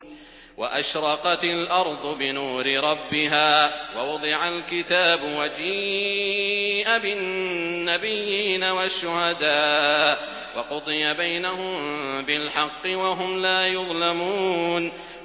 وَأَشْرَقَتِ الْأَرْضُ بِنُورِ رَبِّهَا وَوُضِعَ الْكِتَابُ وَجِيءَ بِالنَّبِيِّينَ وَالشُّهَدَاءِ وَقُضِيَ بَيْنَهُم بِالْحَقِّ وَهُمْ لَا يُظْلَمُونَ